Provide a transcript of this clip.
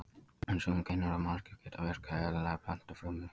En sum gen úr manneskju geta virkað eðlilega í plöntufrumu.